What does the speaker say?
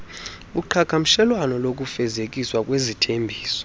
uqhagamshelwano lokufezekiswa kwezithembiso